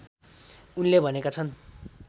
उनले भनेका छन्